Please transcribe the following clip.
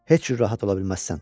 Heç cür rahat ola bilməzsən.